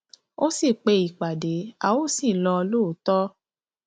ó sì pe ìpàdé a ó sì lọ lóòótọ